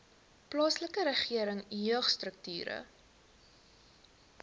plaaslike regering jeugstrukture